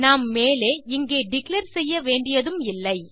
நாம் மேலே இங்கே டிக்ளேர் செய்ய வேண்டியதும் இல்லை